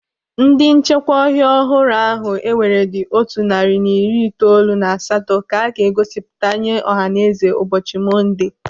Ndị nchekwa ọhịa ọhụrụ ahụ ewere dị otu narị na iri itoolu na asatọ ka a ga-egosipụta nye ọhaneze ụbọchị Monde.